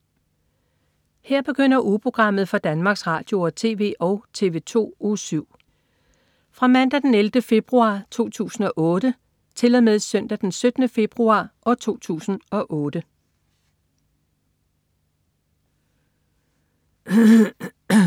Her begynder ugeprogrammet for Danmarks Radio- og TV og TV2 Uge 7 Fra Mandag den 11. februar 2008 Til Søndag den 17. februar 2008